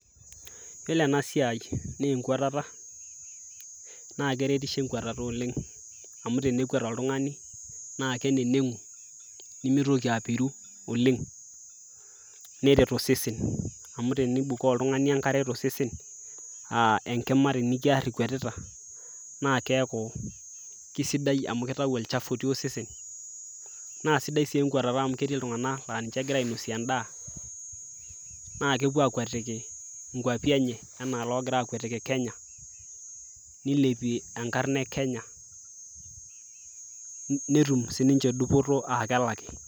yiolo ena siai naa enkuatata naa keretisho enkuatata oleng amu tenekwet oltungani naa keneneng'u nemitoki apiru oleng neret osesen amu tenibukoo oltung'ani enkare tosesen uh, enkima tenikiarr ikwetita naa keeku kisidai amu kitau olchafu otii osesen naa sidai sii enkuatata amu ketii iltung'anak laa ninche egira ainosie endaa naa kepuo akwetiki inkuapi enye enaa logira akwetiki kenya nilepie enkarna e kenya netum sininche dupoto aa kelaki.